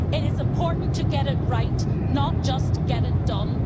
It is important to get it right, not just get it done.